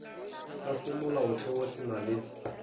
sa semolaotheo se na le